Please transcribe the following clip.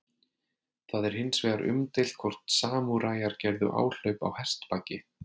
Það er hins vegar umdeilt hvort samúræjar gerðu áhlaup á hestbaki.